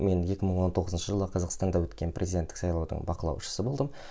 мен екі мың он тоғызыншы жылы қазақстанда өткен президенттік сайлаудың бақылаушысы болдым